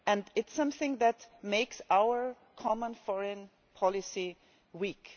It is something that makes our common foreign policy weak.